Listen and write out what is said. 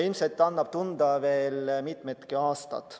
Ilmselt annab see tunda veel mitu aastat.